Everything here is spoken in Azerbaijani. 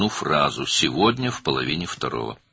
Bu gün saat birin yarısında.